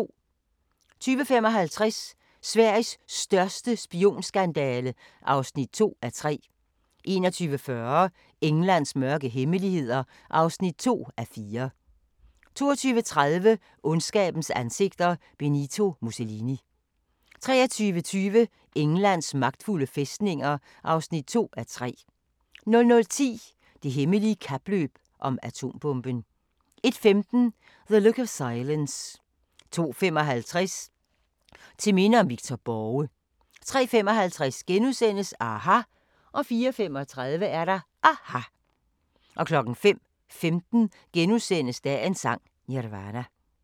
20:55: Sveriges største spionskandale (2:3) 21:40: Englands mørke hemmeligheder (2:4) 22:30: Ondskabens ansigter – Benito Mussolini 23:20: Englands magtfulde fæstninger (2:3) 00:10: Det hemmelige kapløb om atombomben 01:15: The Look of Silence 02:55: Til minde om Victor Borge 03:55: aHA! * 04:35: aHA! 05:15: Dagens Sang: Nirvana *